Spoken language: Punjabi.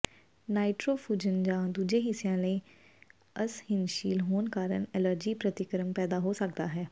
ਨਾਈਟ੍ਰੋਫੁਰਨ ਜਾਂ ਦੂਜੇ ਹਿੱਸਿਆਂ ਲਈ ਅਸਹਿਣਸ਼ੀਲ ਹੋਣ ਕਾਰਨ ਐਲਰਜੀ ਪ੍ਰਤੀਕਰਮ ਪੈਦਾ ਹੋ ਸਕਦਾ ਹੈ